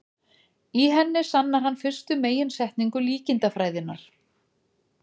í henni sannar hann fyrstu meginsetningu líkindafræðinnar